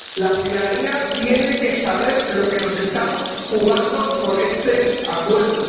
La ciudadanía tiene que saber lo que nos estamos jugando con este acuerdo.